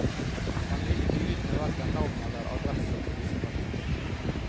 Han vil ikke ut med verken navn eller adresse på disse personene.